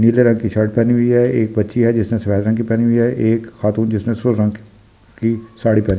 नीले रंग की शर्ट पहनी हुई है एक बच्ची है जिसने सफ़ेद रंग की पहनी हुई है एक खातून जिसने रंग की साड़ी पहनी हुई है।